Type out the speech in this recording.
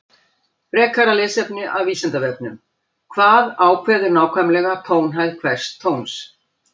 Frekara lesefni af Vísindavefnum: Hvað ákveður nákvæmlega tónhæð hvers tóns?